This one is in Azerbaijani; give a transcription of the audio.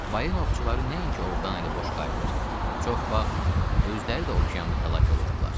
Balina ovçuları nəinki ovdan əli boş qayıdır, çox vaxt özləri də okeanda həlak olurdular.